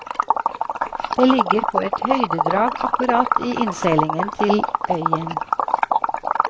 Det ligger på et høydedrag akkurat i innseilingen til øyen.